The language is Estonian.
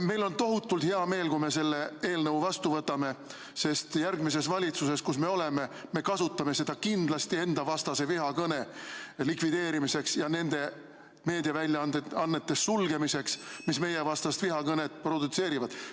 Meil on tohutult hea meel, kui me selle eelnõu vastu võtame, sest järgmises valitsuses, kus me oleme, me kasutame seda kindlasti endavastase vihakõne likvideerimiseks ja nende meediaväljaannete sulgemiseks, mis meievastast vihakõnet produtseerivad.